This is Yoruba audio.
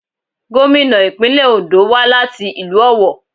Gómìnà ìpínlẹ̀ Òńdó wá láti ìlú Ọ̀wọ̀.